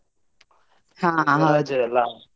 ಹಾ .